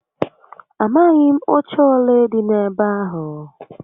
Amaghi m oche ole di n'ebe ahu